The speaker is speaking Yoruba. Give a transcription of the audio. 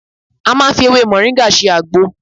A máa ń fi ewé mọ̀ríńgà ṣe àgbo